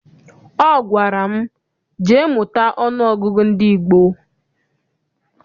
Ọ gwara m, jee mụta ọnụọgụgụ ndị gboo!